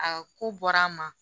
Aa ko bɔra an ma